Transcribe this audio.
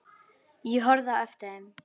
Ég horfði á eftir þeim.